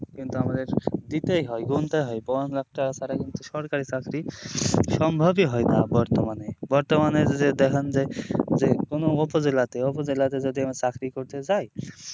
কিন্তু আমাদের দিতেই হয় গুনতে হয় পনেরো লাখ টাকা ছাড়া কিন্তু সরকারি চাকরি সম্ভবই হয় না বর্তমানে বর্তমানের যে যে কোনো উপজেলাতে অপোজেলাতে যদি আমরা যদি চাকরি করতে যাই